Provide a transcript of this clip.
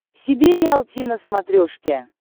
себе риалти на смотрешке